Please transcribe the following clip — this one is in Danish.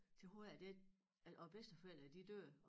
Til har jeg det at vor bedsteforældre de dør